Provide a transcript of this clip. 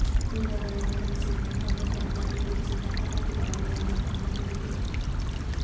ಈಗಾಗಲೇ ದೆಹಲಿ ಸೇರಿದಂತೆ ಅನೇಕ ನಗರದಲ್ಲಿ ಚೀನಾ ಪಟಾಕಿಗಳ ಮೇಲೆ ನಿರ್ಬಂಧ ಹೇರಿದೆ